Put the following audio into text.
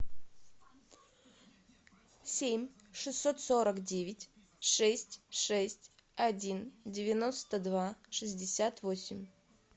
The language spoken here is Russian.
семь шестьсот сорок девять шесть шесть один девяносто два шестьдесят восемь